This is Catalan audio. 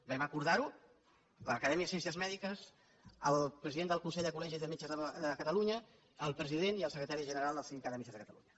vam acordar ho l’acadèmia de ciències mèdiques el president del consell de col·legis de metges de catalunya el president i el secretari general del sindicat de metges de catalunya